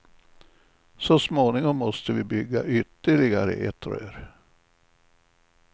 Så småningom måste vi bygga ytterligare ett rör.